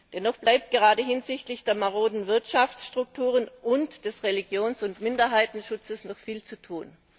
Dennoch bleibt gerade hinsichtlich der maroden Wirtschaftsstrukturen und des Religions und Minderheitenschutzes noch viel zu tun.